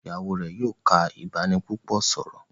Ìyàwó rẹ yóò ká ibanipúpò sọrọ.